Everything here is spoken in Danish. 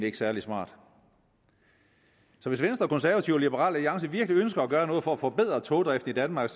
ikke særlig smart så hvis venstre og de konservative og liberal alliance virkelig ønsker at gøre noget for at forbedre togdriften i danmark